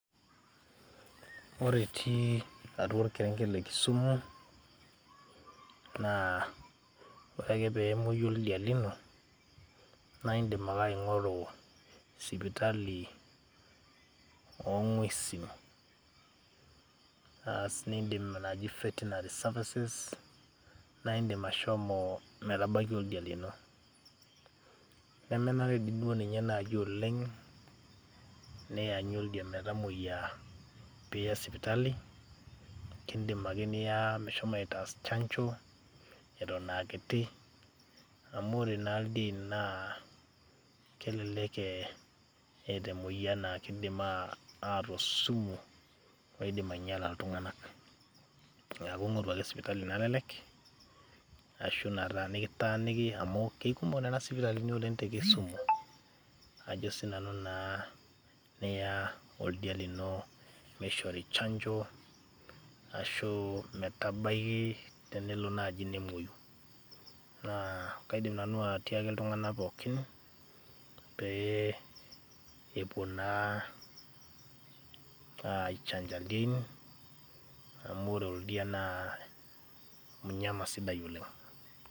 ore itii atua orkerenket le kisumu, naa ore ake pemwoyu oldia lino ,naa indim ake aing, oru sipitali oongwesin , naas esiai naji vetinary services ,naa indimashomo metabaiki oldia lino . nemenare dii duo ninye naji oleng' nianyu oldia metamoyia piya sipitali. kindim ake niya meshomo aitaas chanjo etoon aa kiti amu ore naa ildien naa kelelek eeta emoyian naa kidim ataa osumu loidim ainyiala iltung'ank . niaku ing'oru ake sipitali nalelek ashu nitaaniki amu ikomok nena sipitalini oleng' te kisumu. ajo sii nanu naa niya oldia lino meishori chanjo ashuu metabaki tenelo naaji nemuoyu. Nakaidim nanu atiaki iltung'nak pookin pee epuo naa aichanja idiein amu ore oldia naa mnyama sidai oleng'